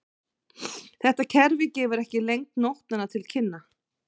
Þetta kerfi gefur ekki lengd nótnanna til kynna.